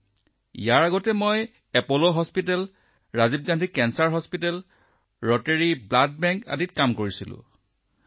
আনকি আইএলবিএছৰ আগতে মই দিল্লীৰ এপল হস্পিটেল ৰাজীৱ গান্ধী কৰ্কট চিকিৎসালয় ৰোটাৰী ব্লাড বেংকৰ দৰে প্ৰতিষ্ঠিত প্ৰতিষ্ঠানত কাম কৰিছো